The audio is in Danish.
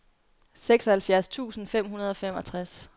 seksoghalvfjerds tusind fem hundrede og femogtres